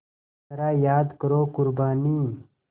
ज़रा याद करो क़ुरबानी